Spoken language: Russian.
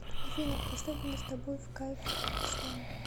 афина поставь мне с тобой в кайф слэм